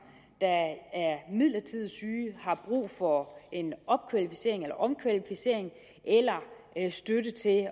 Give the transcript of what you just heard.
der er midlertidigt syge har brug for en opkvalificering eller omkvalificering eller støtte til at